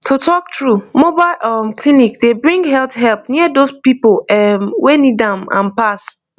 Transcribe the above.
to talk true mobile um clinic dey bring health help near those people erm wey need am am pass